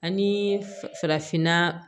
Ani farafinna